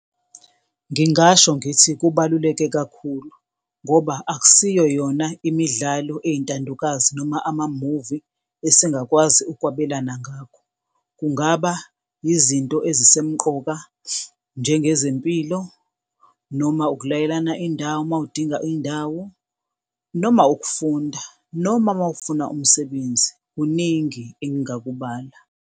Ngingasho ngithi kubaluleke kakhulu ngoba akusiyo yona imidlalo eyintandokazi noma amamuvi esingakwazi ukwabelana ngakho. Kungaba yizinto ezisemqoka njengezempilo noma ukulayelana indawo mawudinga indawo noma ukufunda noma mawufuna umsebenzi. Kuningi engingakubala.